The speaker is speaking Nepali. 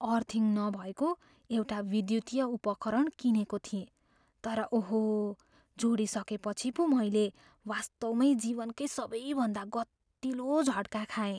अर्थिङ नभएको एउटा विद्युतीय उपकरण किनेको थिएँ तर ओहो, जोडिसकेपछि पो मैले वास्तवमै जीवनकै सबैभन्दा गतिलो झट्का खाएँ।